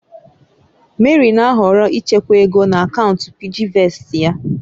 Mary na-ahọrọ ịchekwa ego na akaụntụ PiggyVestị ya.